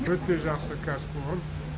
өте жақсы кәсіпорын